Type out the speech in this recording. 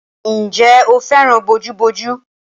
Ǹjẹ́ o fẹ́ràn bojúbojú?